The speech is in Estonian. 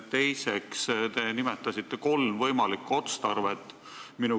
Teiseks, te nimetasite kolm võimalikku otstarvet.